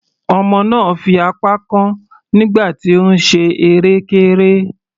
Ọmọ náà fi apá kán nígbà tí ó ń ṣe erékéré.